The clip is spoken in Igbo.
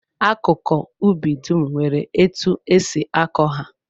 Akụkụ ubi dum nwere etu e si akọ ha